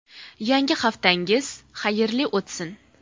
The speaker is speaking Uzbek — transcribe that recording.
Yangi haftangiz xayrli o‘tsin.